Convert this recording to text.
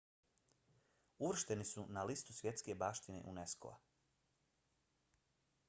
uvršteni su na listu svjetske baštine unesco-a